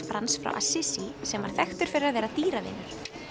Frans frá sem var þekktur fyrir að vera dýravinur